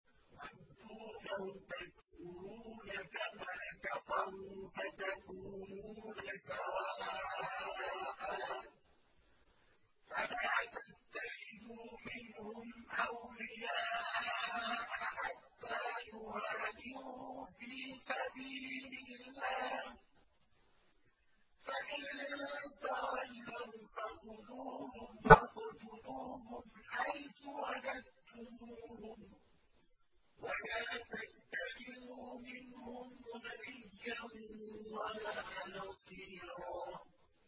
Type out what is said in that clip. وَدُّوا لَوْ تَكْفُرُونَ كَمَا كَفَرُوا فَتَكُونُونَ سَوَاءً ۖ فَلَا تَتَّخِذُوا مِنْهُمْ أَوْلِيَاءَ حَتَّىٰ يُهَاجِرُوا فِي سَبِيلِ اللَّهِ ۚ فَإِن تَوَلَّوْا فَخُذُوهُمْ وَاقْتُلُوهُمْ حَيْثُ وَجَدتُّمُوهُمْ ۖ وَلَا تَتَّخِذُوا مِنْهُمْ وَلِيًّا وَلَا نَصِيرًا